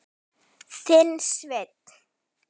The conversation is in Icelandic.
Þinn, Sveinn.